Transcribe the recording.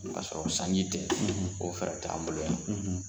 O sɔrɔ sanji tɛ o fɛɛrɛ t'an bolo yan.